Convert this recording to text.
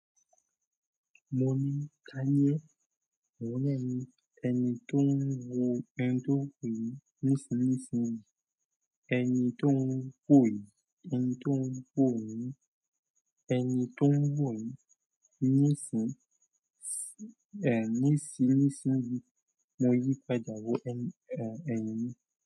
Mo ni, Táyé, mo ni ẹni tó ń wo, ẹni tó ń wòyì, nísinsìnyí. Ẹni tó ń wòyí, ẹni tó ń wòyí, ẹni tó ń wòyí nísin nísìnyí. Mo yí pàdé wó ẹni.